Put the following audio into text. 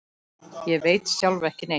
Ég veit sjálf ekki neitt.